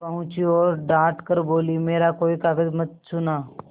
पहुँची और डॉँट कर बोलीमेरा कोई कागज मत छूना